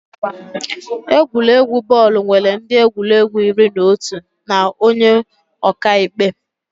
Egwuregwu bọọlụ nwere ndị egwuregwu iri na otu na onye ọka ikpe